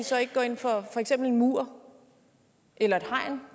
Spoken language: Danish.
så ikke går ind for for eksempel en mur eller et hegn